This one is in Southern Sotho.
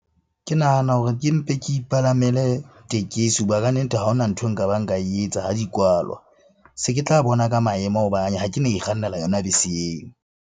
Ke nahana hore ke mpe ke ipalamele tekesi hoba kannete ha hona nthwe nka ba nka e etsa ha di kwalwa. Se ke tla bona ka maemo ha ke na ikgannela yona bese eo.